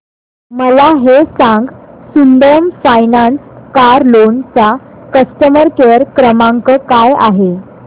मला हे सांग सुंदरम फायनान्स कार लोन चा कस्टमर केअर क्रमांक काय आहे